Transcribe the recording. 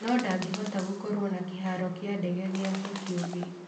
No-ndangĩhota gũkorwo na kĩharo kĩa ndege gĩake kĩũmbe.